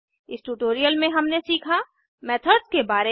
इस ट्यूटोरियल में हमने सीखा मेथड्स के बारे में